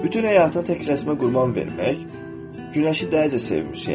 Bütün həyatını tək rəsmə qurban vermək, Günəşi dəlicə sevmiş yəqin.